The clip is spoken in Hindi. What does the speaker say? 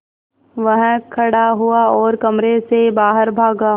वह खड़ा हुआ और कमरे से बाहर भागा